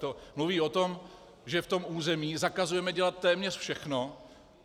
To mluví o tom, že v tom území zakazujeme dělat téměř všechno.